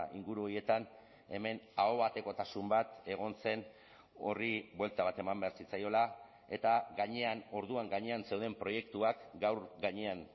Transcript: inguru horietan hemen ahobatekotasun bat egon zen horri buelta bat eman behar zitzaiola eta gainean orduan gainean zeuden proiektuak gaur gainean